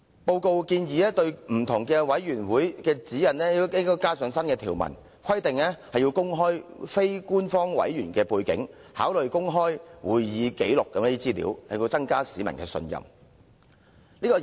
報告建議對各委員會的指引加入新條文，規定須公開非官方委員的背景，並考慮公開會議紀錄等資料，以增加市民的信任。